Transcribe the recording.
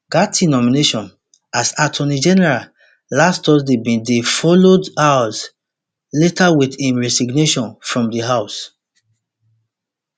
gaetz nomination as attorney general last thursday bin dey followed hours later with im resignation from di house